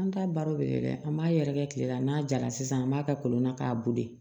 An ta baro de ye dɛ an b'a yɛrɛkɛ kile la n'a jara sisan an b'a kɛ kolon na k'a boli